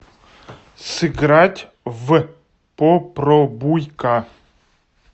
сыграть в попробуйка